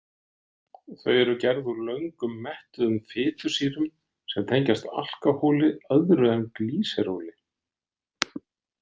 Þau eru gerð úr löngum mettuðum fitusýrum sem tengjast alkóhóli öðru en glýseróli.